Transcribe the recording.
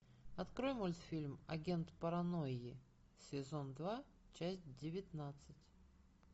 открой мультфильм агент паранойи сезон два часть девятнадцать